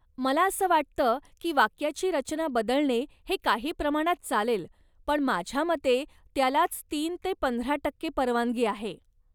मला असं वाटतं की वाक्याची रचना बदलणे हे काही प्रमाणात चालेल पण माझ्या मते त्यालाच तीन ते पंधरा टक्के परवानगी आहे.